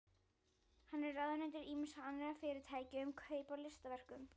Hann er ráðunautur ýmissa annarra fyrirtækja um kaup á listaverkum.